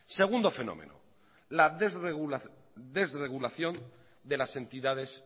segundo fenómeno la desregulación de las entidades